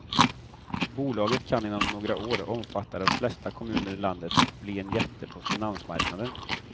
Bolaget kan inom några år omfatta de flesta kommuner i landet och bli en jätte på finansmarknaden.